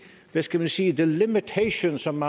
hvad skal man sige the limitation som